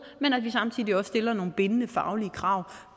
men at vi samtidig også stiller nogle bindende faglige krav